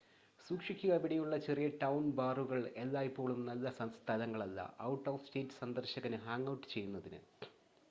സൂക്ഷിക്കുക ഇവിടെയുള്ള ചെറിയ-ടൗൺ ബാറുകൾ എല്ലായ്പ്പോഴും നല്ല സ്ഥലങ്ങളല്ല ഔട്ട്-ഓഫ്-സ്റ്റേറ്റ് സന്ദർശകന് ഹാംഗ് ഔട്ട് ചെയ്യുന്നതിന്